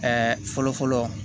fɔlɔ fɔlɔ